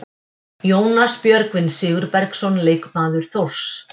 Jónas Björgvin Sigurbergsson, leikmaður Þórs.